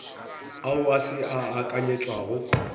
ao a se a akanyetšwago